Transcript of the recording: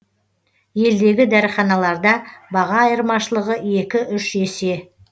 елдегі дәріханаларда баға айырмашылығы екі үш есе